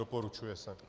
Doporučuje se.